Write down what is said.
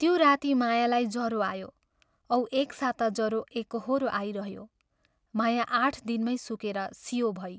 त्यो राती मायालाई जरो आयो औ एक साता जरो एकोहोरो आई रह्यो माया आठ दिनमै सुकेर सियो भई।